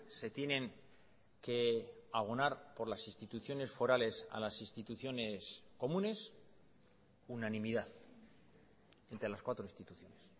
se tienen que abonar por las instituciones forales a las instituciones comunes unanimidad entre las cuatro instituciones